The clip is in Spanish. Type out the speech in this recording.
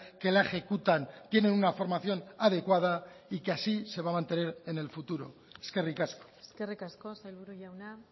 que la ejecutan tienen una formación adecuada y que así se va a mantener en el futuro eskerrik asko eskerrik asko sailburu jauna